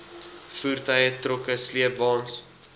voertuie trokke sleepwaens